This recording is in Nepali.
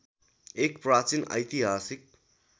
एक प्राचीन ऐतिहासिक